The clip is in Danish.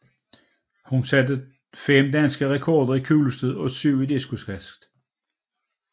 Hun satte fem danske rekorder i kuglestød og syv i diskoskast